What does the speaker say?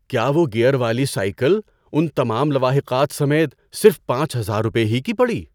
کیا وہ گیئر والی سائیکل ان تمام لواحقات سمیت صرف پانچ ہزار روپے ہی کی پڑی؟